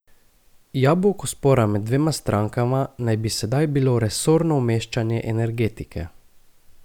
Jabolko spora med dvema strankama naj bi sedaj bilo resorno umeščanje energetike.